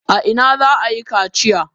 A ina za a yi kaciya?